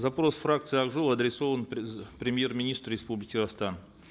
запрос фракции ак жол адресован премьер министру республики казахстан